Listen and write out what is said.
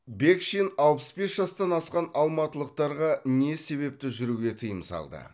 бекшин алпыс бес жастан асқан алматылықтарға не себепті жүруге тыйым салды